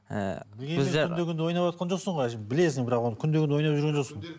күнде ойнаватқан жоқсың ғой білесің бірақ оны күнде күнде ойнап жүрген жоқсың